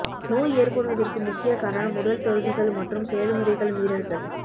நோய் ஏற்படுவதற்கு முக்கிய காரணம் உடல் தோல்விகள் மற்றும் செயல்முறைகள் மீறல்கள்